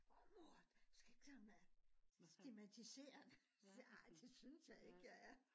Mormor du skal ikke sådan øh stigmatisere det